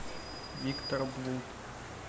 виктор блуд